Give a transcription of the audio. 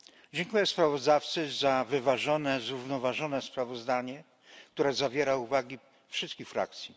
Dziękuję sprawozdawcy za wyważone i zrównoważone sprawozdanie, które zawiera uwagi wszystkich frakcji.